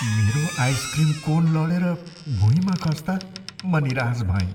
मेरो ice cream cone लडेर भुइँमा खस्ता म निराश भएँ।